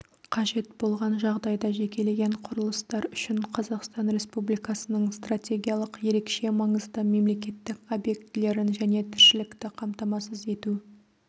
қажет болған жағдайда жекелеген құрылыстар үшін қазақстан республикасының стратегиялық ерекше маңызды мемлекеттік объектілерін және тіршілікті қамтамасыз ету